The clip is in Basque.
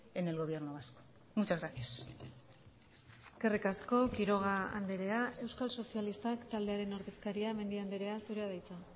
en el gobierno vasco muchas gracias eskerrik asko quiroga andrea euskal sozialistak taldearen ordezkaria mendia andrea zurea da hitza